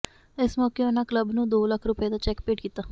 ਇਸ ਮੌਕੇ ਉਨ੍ਹਾਂ ਕਲੱਬ ਨੂੰ ਦੋ ਲੱਖ ਰੁਪਏ ਦਾ ਚੈਕ ਭੇਟ ਕੀਤਾ